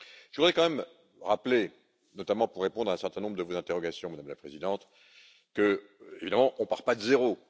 Je voudrais quand même rappeler, notamment pour répondre à un certain nombre de vos interrogations, Madame la Présidente, qu'évidemment, on ne part pas de zéro.